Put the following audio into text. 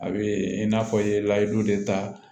A bɛ i n'a fɔ i ye layidu de ta